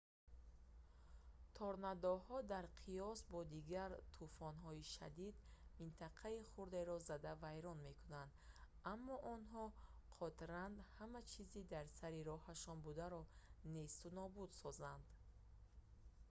торнадоҳо дар қиёс бо дигар тӯфонҳои шадид минтақаи хурдеро зада вайрон мекунанд аммо онҳо қодтранд ҳама чизи дар сари роҳашон бударо несту нобуд созанд